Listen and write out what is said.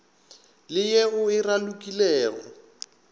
le ye o e ralokilego